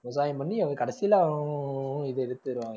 விவசாயம் பண்ணி அது கடைசியில